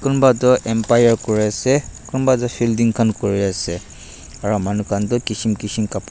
kunba toh empire kuri ase kunba toh fielding khan kuri ase aru manu khan toh kishim kishim cup --